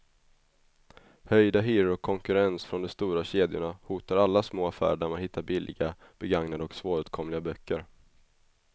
Höjda hyror och konkurrens från de stora kedjorna hotar alla små affärer där man hittar billiga, begagnade och svåråtkomliga böcker.